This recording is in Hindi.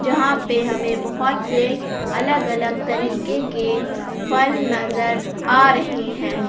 यहां पे हमें बहोत से अलग अलग तरीके के फल नजर आ रहे हैं।